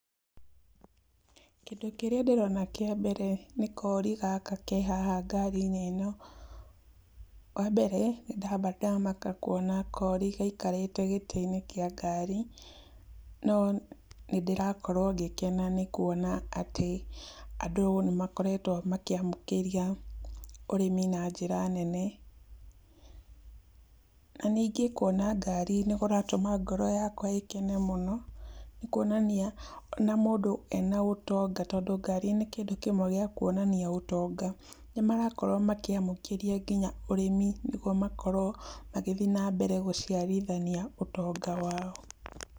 Kĩndũ kĩrĩa ndĩrona kĩa mbere nĩ kori gaka ke haha ngari-inĩ ĩno. Wa mbere, ndamba ndamaka kuona kori gaikarĩte gĩtĩ-inĩ kĩa ngari, no nĩ ndĩrakorwo ngĩkena nĩ kuona atĩ andũ nĩ makeretwo makĩamũkĩria ũrĩmi na njĩra nene. Na ningĩ kuona ngari nĩ kũratũma ngoro yakwa ĩkene mũno, nĩ kuonania, ona mũndũ ena ũtonga tondũ ngari nĩ kĩndũ kĩmwe gĩa kuonania gũtonga. Nĩ marakorwo makĩamũkĩria nginya ũrĩmi nĩguo makorwo magĩthi na mbere gũciarithania ũtonga wao.